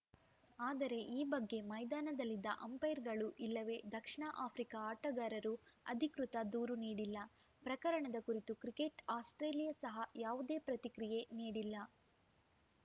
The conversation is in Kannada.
ಆದರೆ ಈ ಬಗ್ಗೆ ಮೈದಾನದಲ್ಲಿದ್ದ ಅಂಪೈರ್‌ಗಳು ಇಲ್ಲವೇ ದಕ್ಷಿಣ ಆಫ್ರಿಕಾ ಆಟಗಾರರು ಅಧಿಕೃತ ದೂರು ನೀಡಿಲ್ಲ ಪ್ರಕರಣದ ಕುರಿತು ಕ್ರಿಕೆಟ್‌ ಆಸ್ಪ್ರೇಲಿಯಾ ಸಹ ಯಾವುದೇ ಪ್ರತಿಕ್ರಿಯೆ ನೀಡಿಲ್ಲ